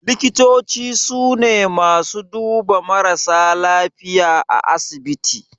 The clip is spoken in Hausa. Likitoci su ne masu duba marasa lafiya a asibiti